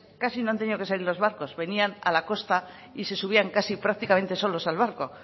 casi no han tenido que salir los barcos venían a la costa y se subían prácticamente solos al barco